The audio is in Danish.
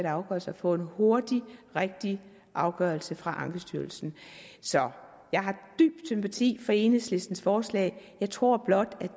afgørelse at få en hurtig rigtig afgørelse fra ankestyrelsen så jeg har dyb sympati for enhedslistens forslag jeg tror blot